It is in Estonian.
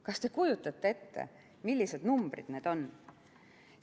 Kas te kujutate ette, millised numbrid need on?